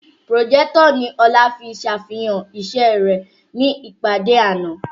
Pùròjẹ́tọ̀ ni Ọlá fi sàfihàn iṣẹ́ rẹ̀ ní ìpàdé àná